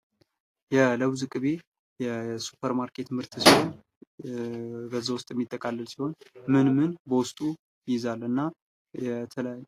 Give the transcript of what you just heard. የለውዝ ቅቤ የሱፐር ማርኬት ምርት ሲሆን በዛ ውስጥ የሚጠቃለል ሲሆን ምን ምን በውስጡ ይይዛል እና የተለያዩ